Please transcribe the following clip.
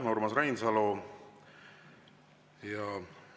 Aitäh, Urmas Reinsalu!